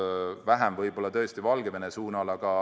Võib-olla Valgevene suunal on neid tõesti vähem olnud.